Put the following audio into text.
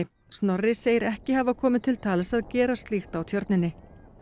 Snorri segir ekki hafa komið til tals að gera slíkt á Tjörninni